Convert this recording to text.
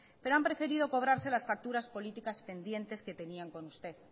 pero han preferido cobrarse las facturas políticas pendientes que tenían con usted